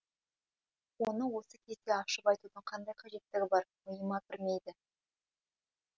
оны осы кезде ашып айтудың қандай қажеттігі бар миыма кірмейді